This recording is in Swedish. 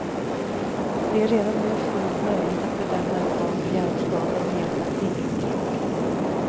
Det är redan nu fullt möjligt att bedöma ett barns hjärnskador med hjälp av fingeravtryck.